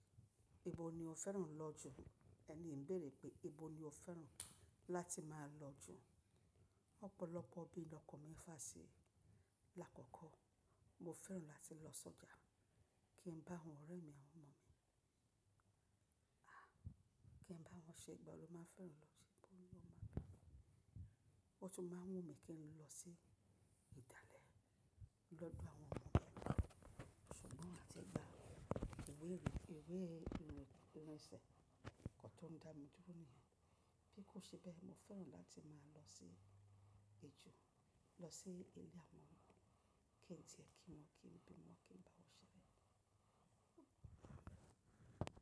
Ibo ni o fẹ́ràn lọ jù? Ẹni ń béèrè pé ibo ni o fẹ́ràn láti máa lọ jù? Ọ̀pọ̀lọpọ̀ bí ọkọ mi fàá sí. Lákọ́kọ́ mo fẹ́ràn láti lọ sọ́jà kí n bá àwọn ọ̀rẹ́ mi àwọn ọmọ mi. A! Kí n bá wọn ṣẹ́ igba lo má fẹ́ràn lọ. Ṣé ibo ni wọn máa gba mi? Wọ́n tún máa wú mí kí n lọ sí ìdálẹ̀ lọ́dọ̀ àwọn ọmọ mi. Ṣùgbọ́n láti gba ìwé ìrìnsẹ̀ kọ́ tó ń dá mi dúró nìyẹn. Bí kò ṣe bẹ́ẹ̀, mo fẹ́ràn láti máa lọ sí èjò. Lọ sí ilé àwọn ọmọ mi kí n tìyẹ kí wọn, kí n bí wọn, kí n bá wọn ṣeré.